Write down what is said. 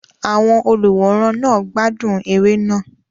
Àwọn olùwòran náà gbádùn eré náà.